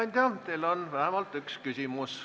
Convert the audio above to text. Hea ettekandja, teile on vähemalt üks küsimus.